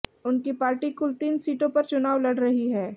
उनकी पार्टी कुल तीन सीटों पर चुनाव लड़ रही है